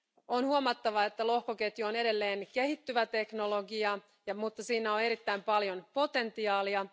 On huomattava, että lohkoketju on edelleen kehittyvä teknologia, mutta siinä on erittäin paljon potentiaalia.